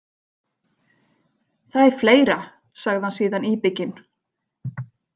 Það er fleira, sagði hann síðan íbygginn.